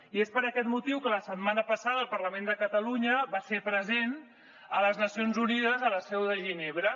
i és per aquest motiu que la setmana passada el parlament de catalunya va ser present a les nacions unides a la seu de ginebra